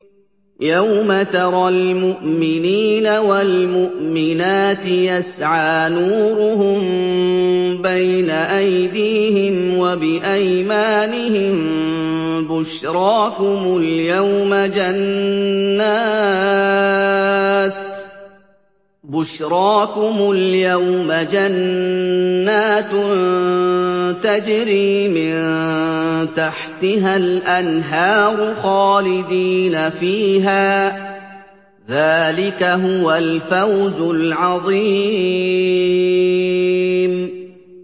يَوْمَ تَرَى الْمُؤْمِنِينَ وَالْمُؤْمِنَاتِ يَسْعَىٰ نُورُهُم بَيْنَ أَيْدِيهِمْ وَبِأَيْمَانِهِم بُشْرَاكُمُ الْيَوْمَ جَنَّاتٌ تَجْرِي مِن تَحْتِهَا الْأَنْهَارُ خَالِدِينَ فِيهَا ۚ ذَٰلِكَ هُوَ الْفَوْزُ الْعَظِيمُ